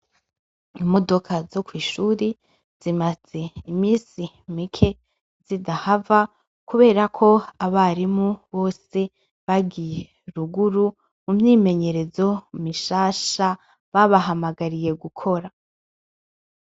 Imodoka zo kwishure zimaze imisi Mike zitahava kuberako abarimu bose bagiye ruguru mu myimenyerezo mishasha babahamagariye gukora